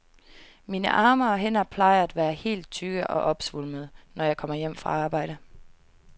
Mine arme og hænder plejer at være helt tykke og opsvulmede, når jeg kommer hjem fra arbejde.